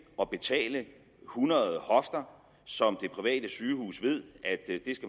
og betale hundrede hofter som det private sygehus ved at